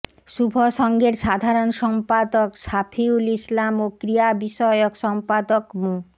শুভসংঘের সাধারণ সম্পাদক শাফিউল ইসলাম ও ক্রিয়া বিষয়ক সম্পাদক মো